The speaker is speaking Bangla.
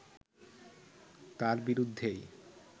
তার বিরুদ্ধেই